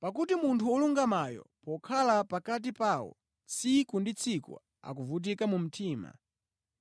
(Pakuti munthu wolungamayo, pokhala pakati pawo tsiku ndi tsiku ankavutika mu mtima